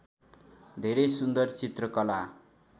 धेरै सुन्दर चित्रकला